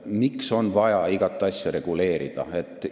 Miks on vaja igat asja reguleerida?